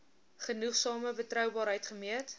genoegsame betroubaarheid gemeet